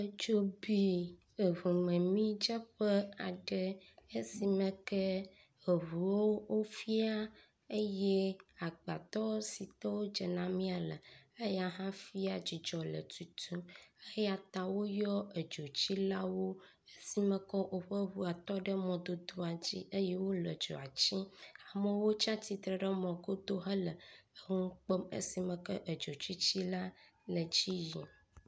Eʋu ƒe amidzeƒe fĩa, eʋu sugbɔwo fĩa, exɔtutuwo fĩa. Etsi dzea ɖe mɔdzi, ame aɖewo le emɔ me tsom. Eʋuwo le emɔdzi, atsi le emɔ xa.